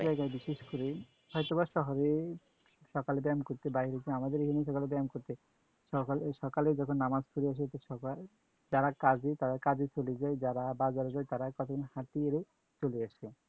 এই যায়গায় বিশেষ করে হয়তো বা শহরে সকালে ব্যায়াম করতে বাইর হয়ছে, আমাদের এখানে সকালে ব্যায়াম করতে সকাল~সকালে যখন নামাজ পরে আসে সকাল, যারা কাজে তারা কাজে চলে যায়, যারা বাজারে যায় তারা কতক্ষণ হাঁটা করে চলে আসে।